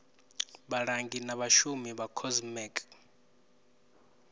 vhalangi na vhashumi vha comsec